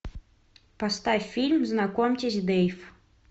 поставь фильм знакомьтесь дейв